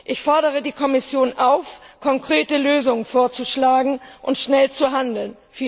Ich fordere die Kommission auf, konkrete Lösungen vorzuschlagen und schnell zu handeln.